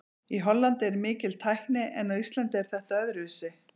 Í Hollandi er mikil tækni en á Íslandi er þetta öðruvísi.